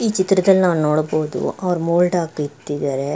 ಈ ಚಿತ್ರದಲ್ಲಿ ನಾವು ನೋಡಬಹುದು ಅವರು ಮೋಡ ಬಿತ್ತಿದ್ದಾರೆ.